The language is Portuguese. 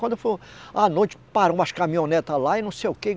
Quando for à noite, parou umas caminhonetes lá e não sei o quê.